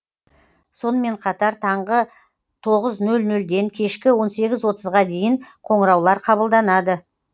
сонымен қатар таңғы тоғыз нөл нөлден кешкі он сегіз отызға дейін қоңыраулар қабылданады